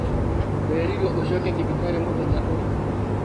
ũrerirwo ũcoke thibitarĩ mũthenya ũrĩkũ?